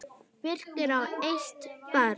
Birkir á eitt barn.